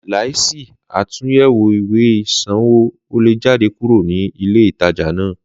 Láìsí àtúnyẹwò ìwé isanwo, o le jáde kúrò ni ilé ìtajà náà.